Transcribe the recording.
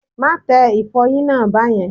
Má tẹ ìfọyín náà bẹ́yẹn.!